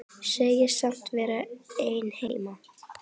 Segist samt vera einn heima.